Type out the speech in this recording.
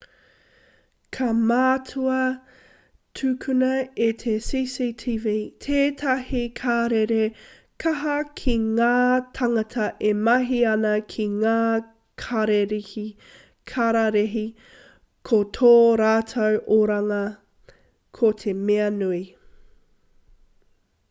ka mātua tukuna e te cctv tētahi karere kaha ki ngā tāngata e mahi ana ki ngā kararehe ko tō rātou oranga ko te mea nui